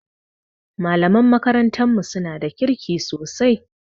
Malaman makarantar mu suna da kirki sosai